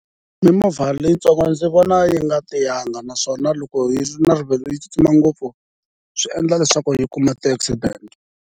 Mimovha leyitsongo ndzi vona yi nga tiyanga naswona loko yi ri na rivilo yi tsutsuma ngopfu swi endla leswaku yi kuma ti-accident-e.